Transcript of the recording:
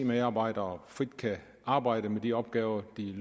medarbejdere frit kan arbejde med de opgaver de